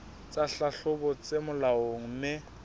tsa tlhahlobo tse molaong mme